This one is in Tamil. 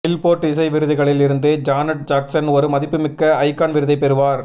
பில்போர்டு இசை விருதுகளில் இருந்து ஜானட் ஜாக்சன் ஒரு மதிப்புமிக்க ஐகான் விருதைப் பெறுவார்